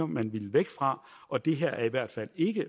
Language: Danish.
man ville væk fra og det her er i hvert fald ikke